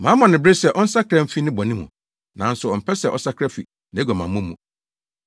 Mama no bere sɛ ɔnsakra mfi ne bɔne mu, nanso ɔmpɛ sɛ ɔsakra fi nʼaguamammɔ mu.